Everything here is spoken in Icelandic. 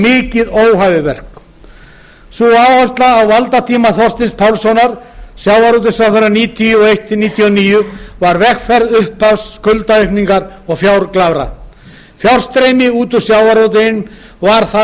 mikið óhæfuverk sú áhersla á valdatíma þorsteins pálssonar sem sjávarútvegsráðherra nítján hundruð níutíu og eitt til nítján hundruð níutíu og níu var vegferð upphafs skuldaaukningar og fjárglæfra fjárstreymi út úr sjávarútveginum var þar